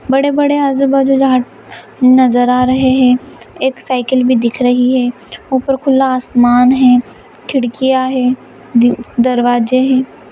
बड़े बड़े आजु- बाजू झाड़ नजर आ रहे है एक साइकिल भी दिख रही है ऊपर खुला आसमान है खिड़कियाँ है दरवाजे ह ।